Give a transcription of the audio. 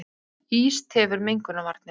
Ís tefur mengunarvarnir